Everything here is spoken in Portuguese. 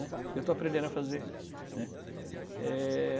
Eu estou aprendendo a fazer, né. É...